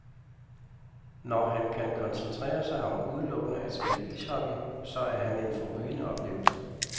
Når han kan koncentrere sig om udelukkende at spille ishockey, så er han en forrygende oplevelse.